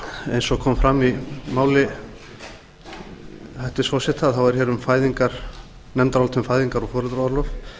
eins og kom fram í máli hæstvirts forseta er hér nefndarálit um fæðingar og foreldraorlof